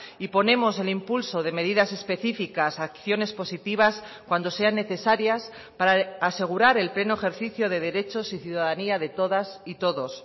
y ponemos el impulso de medidas específicas acciones positivas cuando sean necesarias para asegurar el pleno ejercicio de derechos y ciudadanía de todas y todos